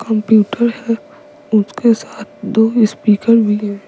Computer है उसके साथ दो स्पीकर भी है।